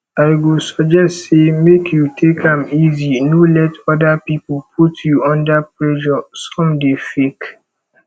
i go suggest say make you take am easy no let other people put you under pressure some dey fake